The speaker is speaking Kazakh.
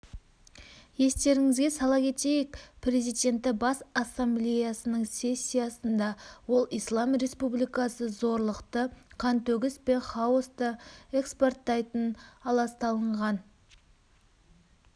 естеріңізге сала кетейік президенті бас ассамблеясының сессиясында ол ислам республикасы зорлықты қантөгіс пен хаосты экспорттайтын аласталынған